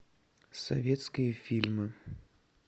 советские фильмы